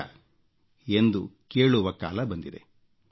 ಹೋಗುತ್ತೀಯಾ ಎಂದು ಕೇಳುವ ಕಾಲ ಬಂದಿದೆ